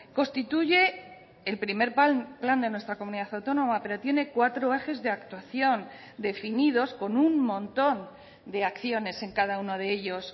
constituye el primer plan de nuestra comunidad autónoma pero tiene cuatro ejes de actuación definidos con un montón de acciones en cada uno de ellos